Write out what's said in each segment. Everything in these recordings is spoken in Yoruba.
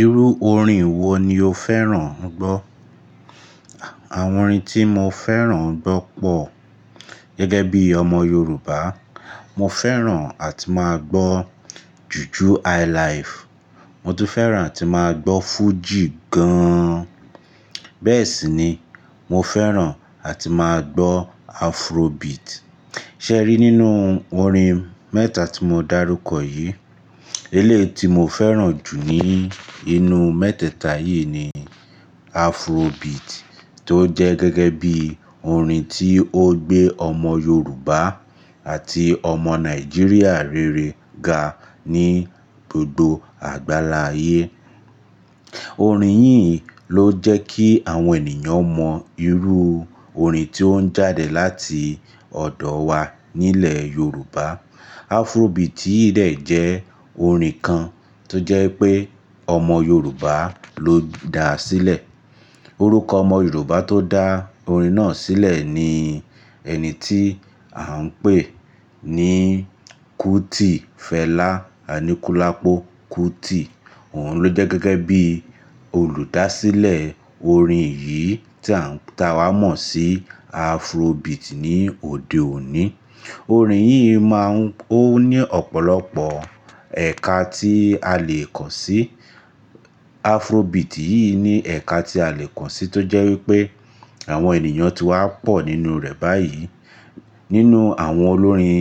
Irú orin wo ni o fẹ́ràn ń gbọ́? Àwọn orin tí mo fẹ́ràn ń gbọ́ pọ̀. Gẹ́gẹ́ bí ọmọ Yorùbá, mo fẹ́ràn àti máa gbọ́ jùju Highlife. Mo tún fẹ́ràn àti máa gbọ́ Fuji gan. Bẹ́ẹ̀ sì ni mo fẹ́ràn àti máa gbọ́ Afrobeat. Sẹ́rí nínú orin mẹ́ta tí mo dárúkọ yìí, eleyii ti mo fẹ́ràn jù ní inú mẹ́tẹ́ẹ̀ta yìí ni Afrobeat tó jẹ́ gẹ́gẹ́ bí orin tí ó gbé ọmọ Yorùbá àti ọmọ Nàìjíríà rere ga ní gbogbo àgbáláye. Orin yìí ló jẹ́ kí àwọn ènìyàn mọ irú orin tí ó ń jáde láti ọ̀dọ̀ wa nílẹ̀ Yorùbá. Afrobeat yìí dé jẹ́ orin kan tó jẹ́ pé ọmọ Yorùbá ló dá a sílẹ̀. Orúkọ ọmọ Yorùbá tó dá orin náà sílẹ̀ ni ẹni tí à ń pè ní Kuti Fẹlá Aníkúlápó Kuti. Òun ló jẹ́ gẹ́gẹ́ bí olùdásílẹ̀ orin yìí tí à ń ta wá mọ̀ sí Afrobeat ní òde òní. Orin yìí máa ń-- ó ní ọ̀pọ̀lọpọ̀ ẹ̀ka tí a lè kọ̀ sí. Afrobeat yìí ní ẹ̀ka tí a lè kọ̀ sí tó jẹ́ wípé àwọn ènìyàn ti wá pọ̀ nínú rẹ̀ báyìí. Nínú àwọn olórin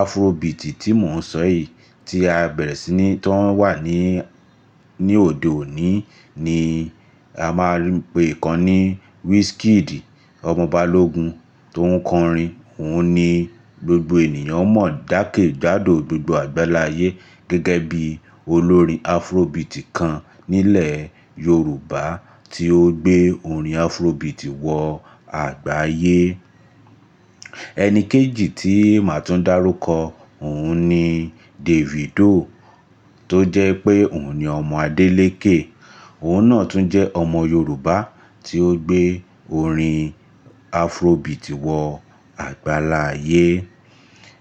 Afrobeat tí mò ń sọ yìí tí a bẹ̀rẹ̀ sí ní to wà ní, ní òde òní ni a máa ń pe ìkan ní Wizkid ọmọ Balógun tó ń kọ orin. Òun ni gbogbo ènìyàn mọ̀ jákẹ́ jádò gbogbo àgbáláyé gẹ́gẹ́ bí olórin Afrobeat kan nílẹ̀ Yorùbá tí ó gbé orin Afrobeat wọ àgbáyé. Ẹni kejì tí màá tún dárúkọ, òun ni Davido tó jẹ́ pé òun ni ọmọ Adélékè. Òun náà tún jẹ́ ọmọ Yorùbá tí ó gbé orin Afrobeat wọ àgbáláyé.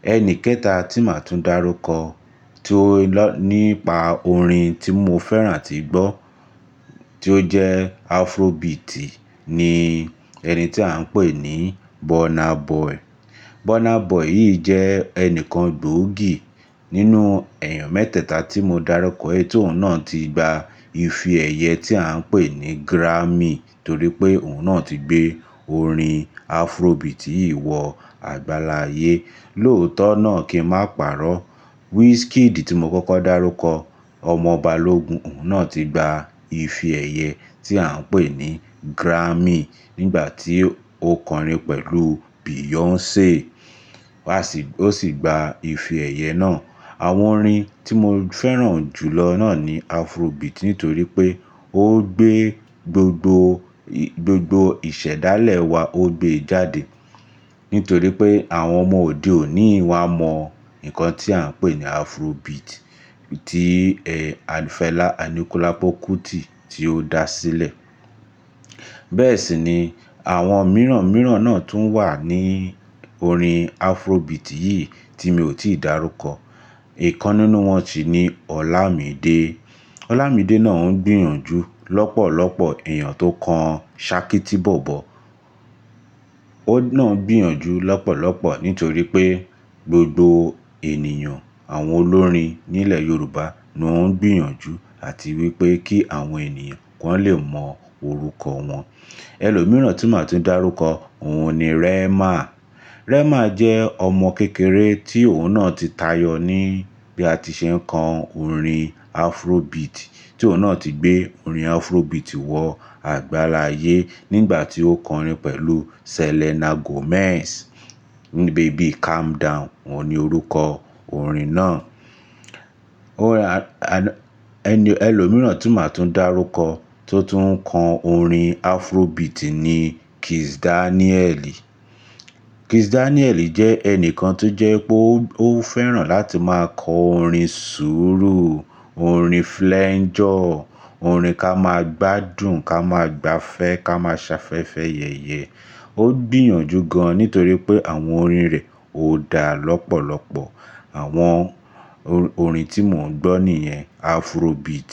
Ẹni kẹta tí màá tún dárúkọ tí ó lọ̀ nípa orin tí mo fẹ́ràn àti gbọ́ tí ó jẹ́ Afrobeat ni ẹni tí à ń pè ní Burna Boy. Burna Boy yìí jẹ́ ẹnìkan gbòógì nínú ẹ̀yàn mẹ́tẹ́ẹ̀ta tí mo dárúkọ yìí tí òun náà ti gba ìfi èyẹ tí à ń pè ní Grammy torí pé òun náà ti gbé orin Afrobeat yìí wọ àgbáláyé. Lóòótọ́ náà kí n má parọ́, Wizkid tí mo kókó dárúkọ ọmọ Balógun òun náà ti gba ìfi èyẹ tí à ń pè ní Grammy nígbà tí ó kọ orin pẹ̀lú Beyoncé. A sì-- ó sì gba ìfi èyẹ náà. Àwọn orin tí mo fẹ́ràn jù lọ náà ni Afrobeat nítorí pé ó gbé gbogbo, gbogbo ìṣẹ̀dálẹ̀ wa ó gbé e jáde. Nítorí pé àwọn ọmọ òde òní wá mọ nǹkan tí à ń pè ní Afrobeat tí, ẹ, Fẹlá Aníkúlápó Kuti tí ó dá a sílẹ̀. Bẹ́ẹ̀ sì ni àwọn mìíràn mìíràn náà tún wà ní orin Afrobeat yìí tí mi ò tíì darúkọ. Ìkan nínú wọn sì ni Olamide. Olamide náà ń gbìyànjú lọ́pọ̀lọpọ̀ èèyàn tó ń kan ṣakí tí bò bo. Óun náà ń gbìyànjú lọ́pọ̀lọpọ̀ nítorí pé gbogbo ènìyàn, àwọn olórin nílẹ̀ Yorùbá ló ń gbìyànjú àti wípé kí àwọn ènìyàn ki wọn lè mọ orúkọ wọn. Ẹlòmíràn tí màá tún dárúkọ òun ni Rema. Rema jẹ́ ọmọ kékeré tí òun náà ti tayọ ní bí a tí ṣe ń kọ orin Afrobeat tí òun náà ti gbé orin Afrobeat wọ àgbáláyé nígbà tí ó kọ orin pẹ̀lú Selena Gomez ní Baby Calm Down, òun ni orúkọ orin náà. Ó ra-- ẹni, ẹlòmíràn tí màá tún dárúkọ tó tún ń kọ orin Afrobeat ni Kizz Daniel. Kizz Daniel jẹ́ ẹnìkan tó jẹ́ pé ó fẹ́ràn láti máa kọ orin ṣúrù, orin flangeur, orin ká máa gbádùn ká máa gbafẹ́ ká máa ṣafẹ́fẹ́ yẹ̀yẹ. Ó gbìyànjú gan an nítorí pé àwọn orin rẹ̀ ó dá lọ́pọ̀lọpọ̀. Àwọn orin tí mò ń gbọ́ nìyẹn Afrobeat.